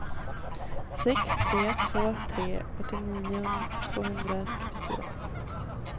sex tre två tre åttionio tvåhundrasextiofyra